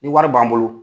Ni wari b'an bolo